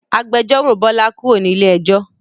Agbẹjọ́ró Bọlá kúrò ní ilé ẹjọ́